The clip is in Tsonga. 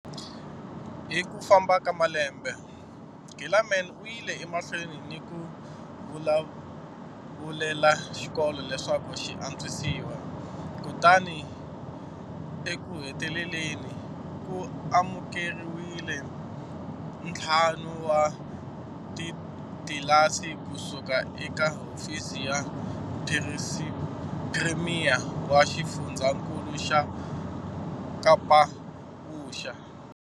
Hi ku famba ka malembe, Gilaman u yile emahlweni ni ku vulavulela xikolo leswaku xi antswisiwa kutani ekuheteleleni, ku amukeriwile ntlhanu wa titlilasi ku suka eka Hofisi ya phirimiya wa Xifundzankulu xa Kapavuxa.